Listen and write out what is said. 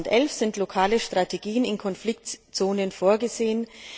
Für 2011 sind lokale Strategien in Konfliktzonen vorgesehen.